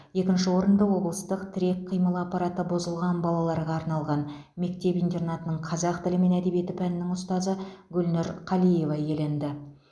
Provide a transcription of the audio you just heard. екінші орынды облыстық тірек қимыл аппараты бұзылған балаларға арналған мектеп интернаттың қазақ тілі мен әдебиеті пәнінің ұстазы гүлнұр қалиева иеленді